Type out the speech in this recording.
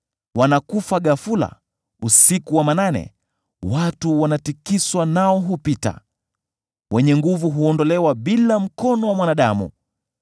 Wanakufa ghafula, usiku wa manane; watu wanatikiswa nao hupita; wenye nguvu huondolewa bila mkono wa mwanadamu.